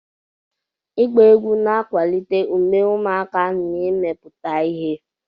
Ịgba egwu na-akwalite ume ụmụaka na imepụta ihe.